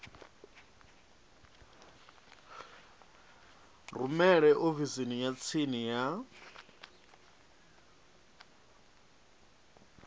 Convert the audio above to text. rumele ofisini ya tsini ya